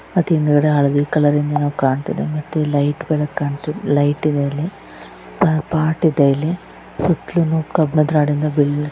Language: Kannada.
ಮತ್ತ್ ಹಿಂದ್ಗಡೆ ಹಳದಿ ಕಲರ್ ಇಂದು ಏನೋ ಕಾಣ್ತಿದೆ ಮತ್ತ್ ಇಲ್ಲಿ ಲೈಟ್ಗಳು ಕಾಣಿಸು ಲೈಟ್ ಇದೆ ಅಲ್ಲಿ. ಅಲ್ ಪಾಟ್ ಇದೆ. ಇಲ್ಲಿ ಸುತ್ತಲೂ ಕಬ್ಬಿಣ --